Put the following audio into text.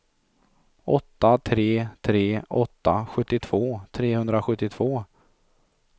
åtta tre tre åtta sjuttiotvå trehundrasjuttiotvå